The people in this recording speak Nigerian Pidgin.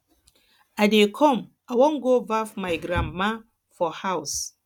i dey come i wan go baff my grandma for house